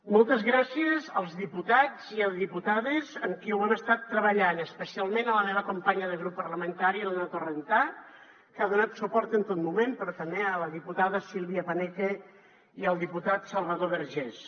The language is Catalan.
moltes gràcies als diputats i diputades amb qui ho hem estat treballant especialment la meva companya de grup parlamentari l’anna torrentà que ha donat suport en tot moment però també a la diputada silvia paneque i al diputat salvador vergés